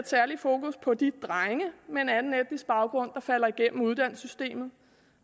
særlig fokus på de drenge med en anden etnisk baggrund der falder igennem uddannelsessystemet